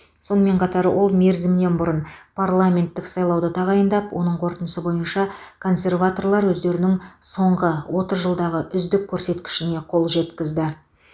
сонымен қатар ол мерзімінен бұрын парламенттік сайлауды тағайындап оның қорытындысы бойынша консерваторлар өздерінің соңғы отыз жылдағы үздік көрсеткішіне қол жеткізді